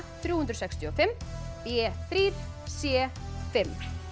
þrjú hundruð sextíu og fimm b þrír c fimm